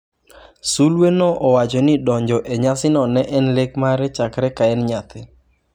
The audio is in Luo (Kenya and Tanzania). Sulweno owacho ni donjo e nyasino ne en lek mare chakre ka en nyathi.